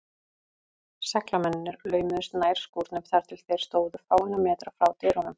Seglamennirnir laumuðust nær skúrnum, þar til þeir stóðu fáeina metra frá dyrunum.